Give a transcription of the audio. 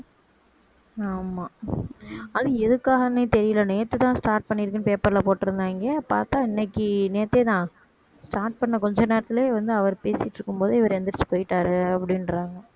ஆமா அது எதுக்காகன்னே தெரியல நேத்து தான் start பண்ணிருக்குனு paper ல போட்டிருந்தாயிங்க பார்த்தா இன்னைக்கு நேத்தேதான் start பண்ண கொஞ்ச நேரத்திலேயே வந்து அவர் பேசிட்டு இருக்கும்போது இவர் எந்திரிச்சு போயிட்டாரு அப்படின்றாங்க